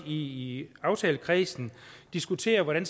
i aftalekredsen diskutere hvordan